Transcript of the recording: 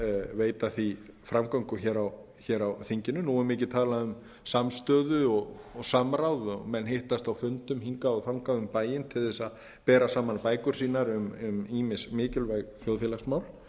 veita því framgöngu á þinginu nú er mikið talað um samstöðu og samráð og menn hittast á fundum hingað og þangað um bæinn til að bera saman bækur sínar um ýmis mikilvæg þjóðfélagsmál